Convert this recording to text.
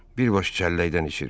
Bir baş çəlləkdən içirdi.